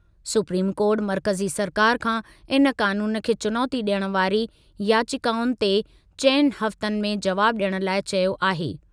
Supreme कोर्टु मर्कज़ी सरकारि खां इन क़ानून खे चुनौती ॾियण वारी याचिकाउनि ते चइनि हफ़्तनि में जवाब ॾियण लाइ चयो आहे।